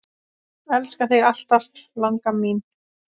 Elska þig alltaf, langa mín.